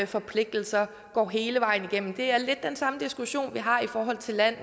forpligtelser går hele vejen igennem det er lidt den samme diskussion vi har i forhold til land